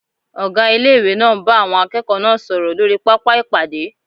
Ọgá Ilé-ìwé náà ń bá àwọn akẹ́kọ̀ọ́ náà sọ̀rọ̀ lórí pápá ìpàdé